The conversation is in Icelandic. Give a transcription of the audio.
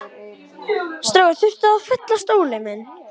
Ekkert stig fyrir þennan.